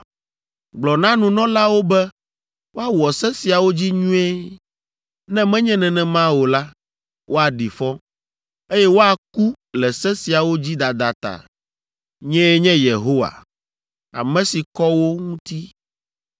“ ‘Gblɔ na nunɔlawo be woawɔ se siawo dzi nyuie, ne menye nenema o la, woaɖi fɔ, eye woaku le se siawo dzi dada ta. Nyee nye Yehowa, ame si kɔ wo ŋuti.